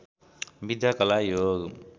विद्या कला योग